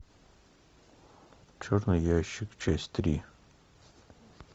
черный ящик часть три